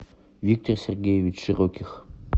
виктор сергеевич широких